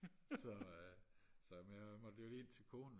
så så jeg måtte jo lige ind til konen